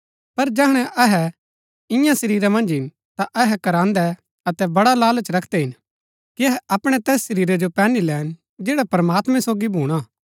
पर जैहणै अहै इन्या शरीरा मन्ज हिन ता अहै कराहन्दै अतै बड़ा लालच रखदै हिन कि अपणै तैस शरीरा जो पैहनी लैन जैड़ा प्रमात्मैं सोगी भूणा